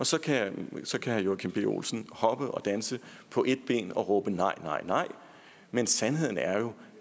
så kan herre joachim b olsen hoppe og danse på et ben og råbe nej nej nej men sandheden er jo